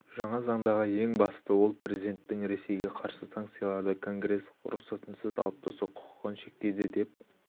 жаңа заңдағы ең бастысы ол президенттің ресейге қарсы санкцияларды конгресс рұқсатынсыз алып тастау құқығын шектейді деп